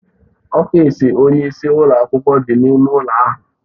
Ọfịs onye isi ụlọ akwụkwọ dị n'ime ụlọ ahụ.